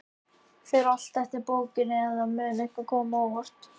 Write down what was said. Fer allt eftir bókinni, eða mun eitthvað koma á óvart?